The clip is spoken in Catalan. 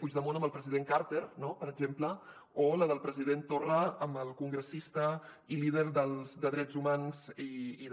puigdemont amb el president carter no per exemple o la del president torra amb el congressista i líder de drets humans i de